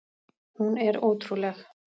Hún er ótrúleg!